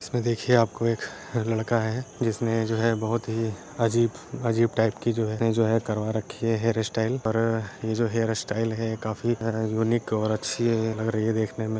इसमे देखिए आपको एक लड़का है। जिसने जो है बोहोत ही अजीब अजीब टाइप की जो है करवा रखी है हेयर स्टाइल पर ये जो हेयर स्टाइल हैं काफी अ यूनिक और अच्छी लग रही है देखने में।